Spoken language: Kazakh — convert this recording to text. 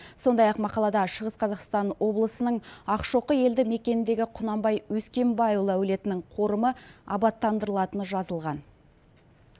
сондай ақ мақалада шығыс қазақстан облысының ақшоқы елді мекеніндегі құнанбай өскенбайұлы әулетінің қорымы абаттандырылатыны жазылған